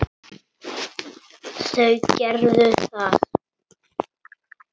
Þau gerðu það.